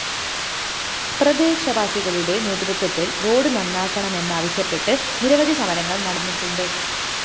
പ്രദേശവാസികളുടെ നേതൃത്വത്തില്‍ റോഡ്‌ നന്നാക്കണമെന്നാവശ്യപ്പെട്ട് നിരവധി സമരങ്ങള്‍ നടന്നിട്ടുണ്ട്